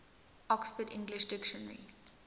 oxford english dictionary